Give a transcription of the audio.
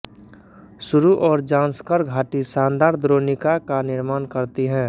सुरु और जांस्कर घाटी शानदार द्रोणिका का निर्माण करती हैं